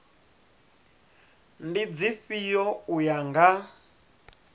ndi dzifhio u ya nga